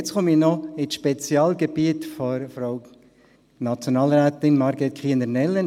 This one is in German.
Jetzt komme ich noch zum Spezialgebiet von Frau Nationalrätin Margret Kiener Nellen: